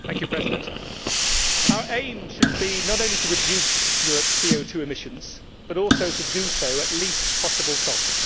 Madam President, our aim should be not only to reduce Europe's CO emissions but also to do so at the least possible cost.